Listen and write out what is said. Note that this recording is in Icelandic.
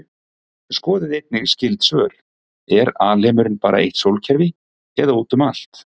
Skoðið einnig skyld svör: Er alheimurinn bara eitt sólkerfi eða út um allt?